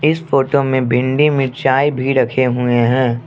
इस फोटो में भिंडी मिर्चाये भी रखे हुए हैं।